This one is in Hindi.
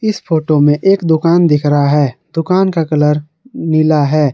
इस फोटो में एक दुकान दिख रहा है दुकान का कलर नीला है।